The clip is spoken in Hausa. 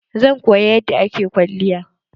Zan koya yadda ake kwalliya.